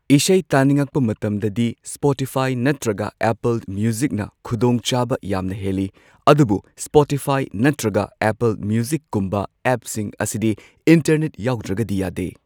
ꯏꯁꯩ ꯇꯥꯅꯤꯡꯉꯛꯄ ꯃꯇꯝꯗꯗꯤ ꯁ꯭ꯄꯣꯇꯤꯐꯥꯏ ꯅꯠꯇ꯭ꯔꯒ ꯑꯦꯄꯜ ꯃ꯭ꯌꯨꯖꯤꯛꯅ ꯈꯨꯗꯣꯡꯆꯥꯕ ꯌꯥꯝꯅ ꯍꯦꯜꯂꯤ꯫ ꯑꯗꯨꯕꯨ ꯁ꯭ꯄꯣꯇꯤꯐꯥꯏ ꯅꯠꯇ꯭ꯔꯒ ꯑꯦꯄꯜ ꯃ꯭ꯌꯨꯖꯤꯛꯀꯨꯝꯕ ꯑꯦꯞꯁꯤꯡ ꯑꯁꯤꯗꯤ ꯏꯟꯇꯔꯅꯦꯠ ꯌꯥꯎꯗ꯭ꯔꯒꯗꯤ ꯌꯥꯗꯦ꯫